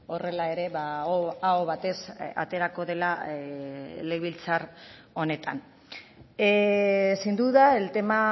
horrela ere aho batez aterako dela legebiltzar honetan sin duda el tema